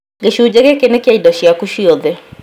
Gĩcunjĩ gĩkĩ nĩ kĩa indo ciaku ciothe